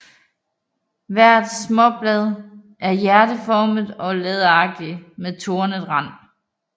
Hvert småblad er hjerteformet og læderagtigt med tornet rand